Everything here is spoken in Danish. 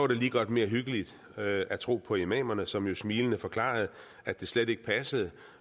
det lige godt mere hyggeligt at tro på imamerne som jo smilende forklarede at det slet ikke passede